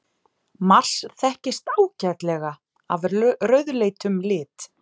Mars þekkist ágætlega af rauðleitum lit.